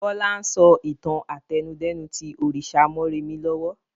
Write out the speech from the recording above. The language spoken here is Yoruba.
Bọlá ń sọ ìtàn àtẹnudẹ́nu tí òrìṣà mọ́remí lọ́wọ́